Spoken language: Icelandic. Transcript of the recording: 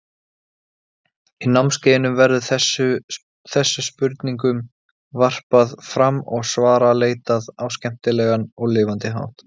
Í námskeiðinu verður þessu spurningum varpað fram og svara leitað á skemmtilegan og lifandi hátt.